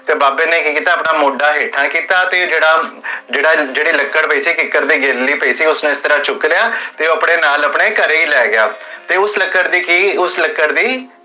ਤੇ ਬਾਬੇ ਨੇ ਕੀ ਕੀਤਾ, ਆਪਣਾ ਮੋਢਾ ਹੇਠਾਂ ਕੀਤਾ, ਤੇ ਜੇਹੜਾ, ਜੇਹੜੀ ਲਕੜ ਪੀ ਸੀ ਕਿੱਕਰ ਤੇ ਗਿੱਲੀ ਪੀ ਸੀ, ਉਸਨੇ ਇਸ ਤਰਹ ਚੁਕ ਲੇਆ, ਤੇ ਓਹ ਆਪਣੇ ਨਾਲ ਆਪਣੇ ਘਰੇ ਹੀ ਲੈ ਗਿਆ ਤੇ ਉਸ ਲਕੜ ਦੀ ਕੀ? ਉਸ ਲਕੜ ਦੀ